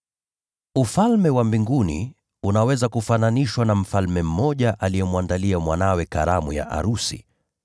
“Ufalme wa Mbinguni unaweza kufananishwa na mfalme mmoja aliyemwandalia mwanawe karamu ya arusi.